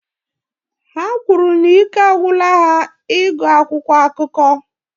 Ha kwuru na ike agwụla ha ịgụ akwụkwọ akụkọ